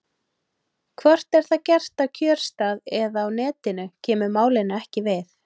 Hvort það er gert á kjörstað eða á Netinu kemur málinu ekki við.